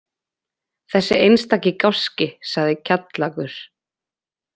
Þessi einstaki gáski, sagði Kjallakur.